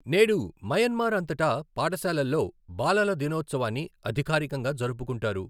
నేడు, మయన్మార్ అంతటా పాఠశాలల్లో బాలల దినోత్సవాన్ని అధికారికంగా జరుపుకుంటారు.